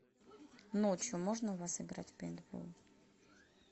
ночью можно у вас играть в пейнтбол